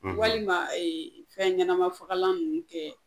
Walima fɛnɲɛnamafagalan ninnu kɛ